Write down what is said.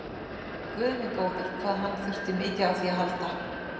Guð minn góður, hvað hann þurfti mikið á því að halda!